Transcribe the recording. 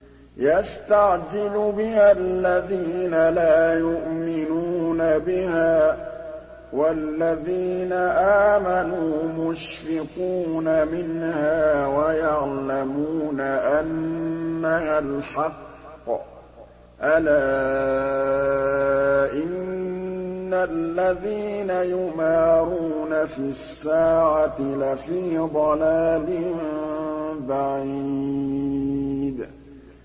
يَسْتَعْجِلُ بِهَا الَّذِينَ لَا يُؤْمِنُونَ بِهَا ۖ وَالَّذِينَ آمَنُوا مُشْفِقُونَ مِنْهَا وَيَعْلَمُونَ أَنَّهَا الْحَقُّ ۗ أَلَا إِنَّ الَّذِينَ يُمَارُونَ فِي السَّاعَةِ لَفِي ضَلَالٍ بَعِيدٍ